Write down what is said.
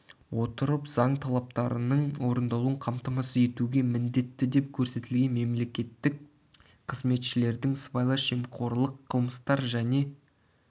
отырып заң талаптарының орындалуын қамтамасыз етуге міндетті деп көрестілген мемлекеттік қызметшілердің сыбайлас жемқорлық қылмыстар және